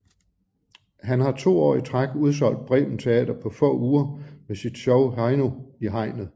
Han har 2 år i træk udsolgt Bremen Teater på få uger med sit show Heino i hegnet